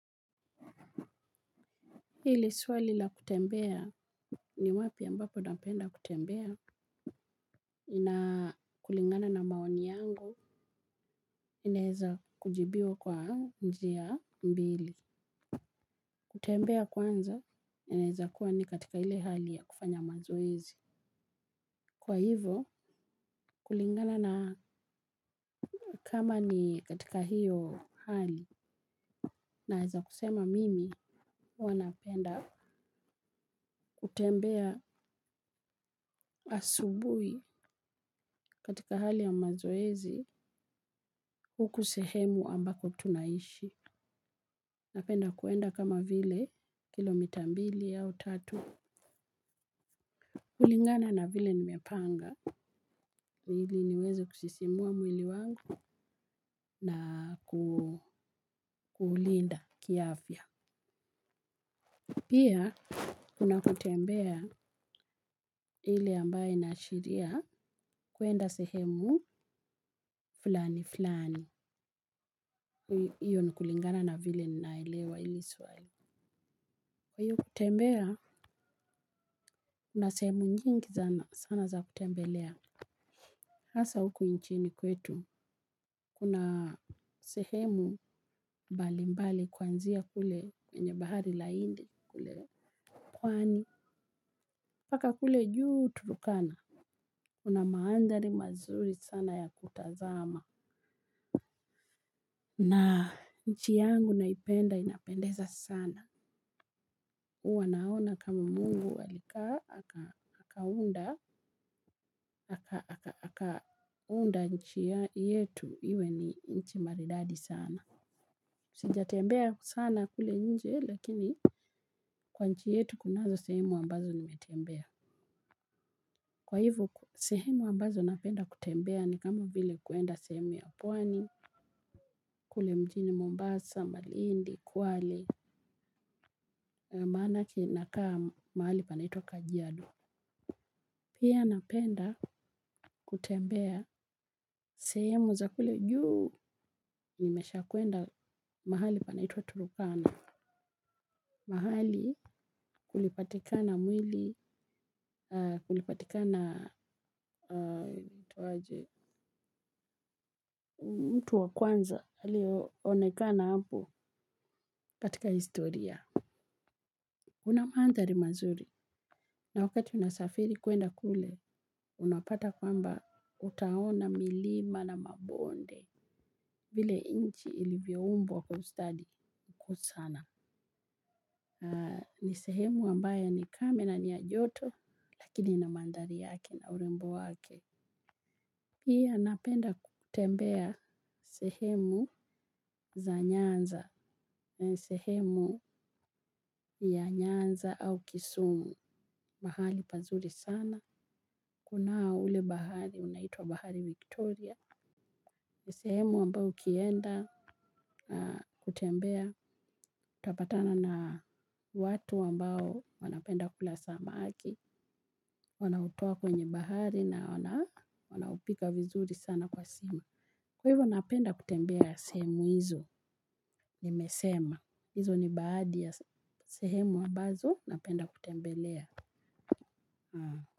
Hili swali la kutembea. Ni wapi ambapo napenda kutembea na kulingana na maoni yangu inaeza kujibiwa kwa njia mbili. Kutembea kwanza inaeza kuwa ni katika ile hali ya kufanya mazoezi kwa hivo kulingana na kama ni katika hio hali. Naeza kusema mimi hua napenda kutembea asubui katika hali ya mazoezi huku sehemu ambako tunaishi. Napenda kuenda kama vile kilomita mbili au tatu. Kulingana na vile nimepanga. Ili niweze kusisimua mwili wangu na kuulinda kiafya. Pia, kuna kutembea ile ambaye inaashiria kwenda sehemu fulani fulani. Iyo ni kulingana na vile naelewa ili swali. Kwa hiyo kutembea, kuna sehemu nyingi zana sana za kutembelea. Hasa huku inchini kwetu, kuna sehemu bali mbali kwanzia kule kwenye bahari la indi kule pwaani. Mpaka kule juu Turkana. Kuna maandhari mazuri sana ya kutazama. Na nchi yangu naipenda inapendeza sana. Uwa naona kama mungu alikaa akaunda nchi yetu, iwe ni nchi maridadi sana. Sija tembea sana kule nje, lakini kwa nchi yetu kunazo sehemu ambazo nimetembea. Kwa hivu, sehemu ambazo napenda kutembea ni kama vile kuenda sehemu ya pwani, kule mjini Mombasa, Malindi, Kwale, maanake nakaa mahali panaitwa Kajiado. Pia napenda kutembea sehemu za kule juu nimesha kwenda mahali panaitwa Turukana. Mahali kulipatika na mwili, kulipatika na mtu wa kwanza, alio onekana hapo katika historia. Una maanthari mazuri na wakati unasafiri kuenda kule unapata kwamba utaona milima na mabonde. Vile inchi ilivyoumbwa kwa ustadi kuu sana. Ni sehemu ambaya ni kame na ni ya joto lakini ina mandhari yake na urembo wake. Pia napenda kutembea sehemu za Nyanza na sehemu ya Nyanza au Kisumu mahali pazuri sana kunao ule bahari unaitwa bahari Victoria sehemu ambao ukienda kutembea utapatana na watu ambao wanapenda kula samaki wanaotua kwenye bahari na wanapika vizuri sana kwa sima kwa hivyo napenda kutembea sehemu hizo nimesema hizo ni baadi ya sehemu ambazo napenda kutembelea Hmm.